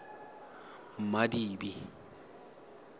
madibe